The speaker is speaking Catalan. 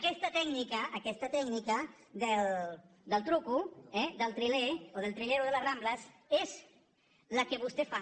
aquesta tècnica del truc del triler o del trilero de les rambles és la que vostè fa